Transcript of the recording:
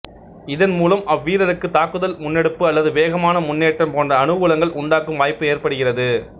இதன் மூலம் அவ்வீரருக்கு தாக்குதல் முன்னெடுப்பு அல்லது வேகமான முன்னேற்றம் போன்ற அனுகூலங்கள் உண்டாகும் வாய்ப்பு ஏற்படுகிறது